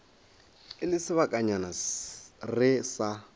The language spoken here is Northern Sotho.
e le sebakanyana re sa